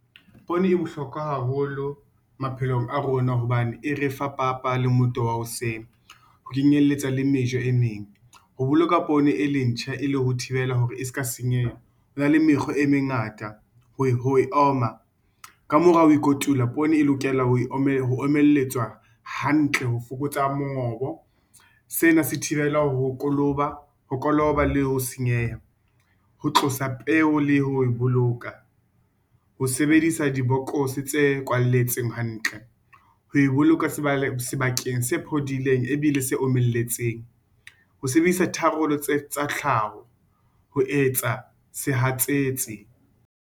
Poone e bohlokwa haholo maphelong a rona hobane e re fa papa le motoho wa hoseng ho kenyelletsa le mejo e meng, ho boloka poone e le ntjha e le ho thibela hore e se ka senyeha hona le mekgwa e mengata ho e oma. Ka mora ho e kotula, poone e lokela ho omelletswa hantle ho fokotsa mongobo. Sena se thibela ho koloba le ho senyeha. Ho tlosa peo le ho e boloka, ho sebedisa di bokose tse kwaletsweng hantle, ho e boloka sebakeng se phodileng e bile se omelletseng, ho sebedisa tharollo tsa tlhaho ho etsa sehatsetsi.